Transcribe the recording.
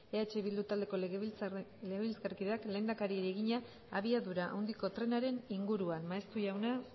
eh bildu taldeko legebiltzarkideak lehendakariari egina abiadura handiko trenaren inguruan maeztu jauna